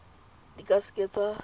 di ka se ke tsa